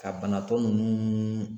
Ka banatɔ ninnu